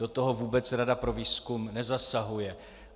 Do toho vůbec Rada pro výzkum nezasahuje.